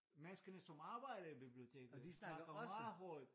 Menneskerne som arbejder i biblioteket snakker meget højt